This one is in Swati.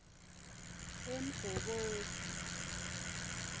emgobodzi